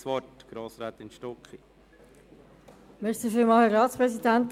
Grossrätin Stucki, Sie haben das Wort.